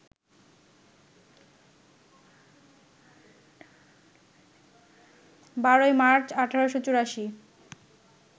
১২ই March, ১৮৮৪